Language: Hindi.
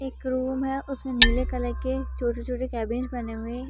एक रूम है उस मे नीले कलर के छोटे-छोटे कैबिन बने हुए हैं।